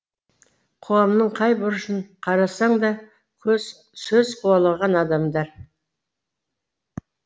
қоғамның қай бұрышын қарасаң да сөз қуалаған адамдар